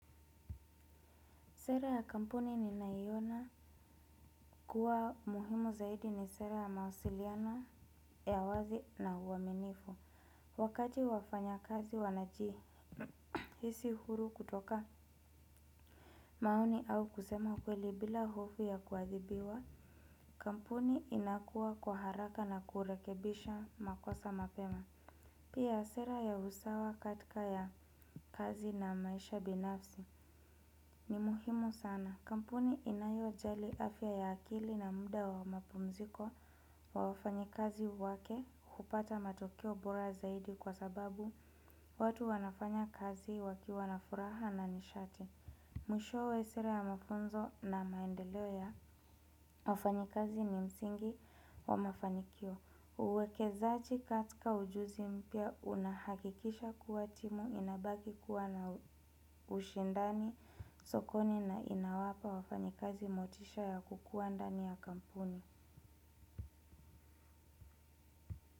Sera ya kampuni ninayoiona kuwa muhimu zaidi ni sera ya mawasiliano ya wazi na uaminifu. Wakati wafanya kazi wanajihisi huru kutoka maoni au kusema kweli bila hofu ya kuadhibiwa. Kampuni inakuwa kwa haraka na kurekebisha makosa mapema. Pia sera ya usawa katika ya kazi na maisha binafsi ni muhimu sana. Kampuni inayojali afya ya akili na muda wa mapumziko wa wafanyikazi wake hupata matokeo bora zaidi kwa sababu watu wanafanya kazi wakiwa na furaha na nishati. Mwishowe sera ya mafunzo na maendeleo ya wafanyikazi ni msingi wa mafanikio. Uwekezaji katika ujuzi mpya unahakikisha kuwa timu inabaki kuwa na ushindani sokoni na inawapa wafanyikazi motisha ya kukuwa ndani ya kampuni.